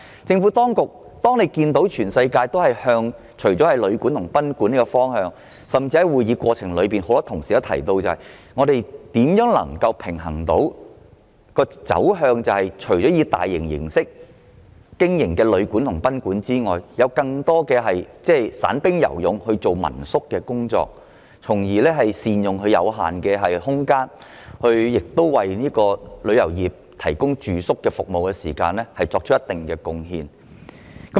政府當局注意到全球旅館和賓館的發展，而多位議員在會議的過程中亦提到另一個問題，便是除了大型旅館和賓館外，當局應如何平衡地讓更多散兵游勇式的民宿經營，藉以善用有限空間，為旅遊業的住宿服務作出貢獻。